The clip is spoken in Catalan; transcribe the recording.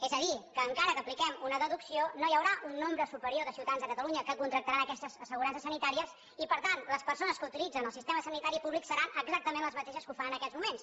és a dir que encara que apliquem una deducció no hi haurà un nombre superior de ciutadans de catalunya que contractaran aquestes assegurances sanitàries i per tant les persones que utilitzen el sistema sanitari públic seran exactament les mateixes que ho fan en aquests moments